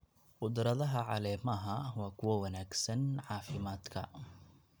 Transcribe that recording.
Khudradaha caleemaha waa kuwo wanaagsan caafimaadka.